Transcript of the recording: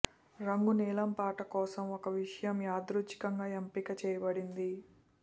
రంగు నీలం పాట కోసం ఒక విషయం యాదృచ్ఛికంగా ఎంపిక చేయబడింది